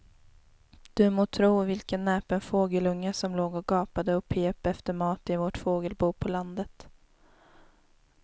Du må tro vilken näpen fågelunge som låg och gapade och pep efter mat i vårt fågelbo på landet.